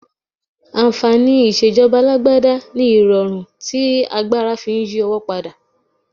Ànfàní ìṣèjọba alágbádá ni irọrun tí agbára fi ń yí owó padà.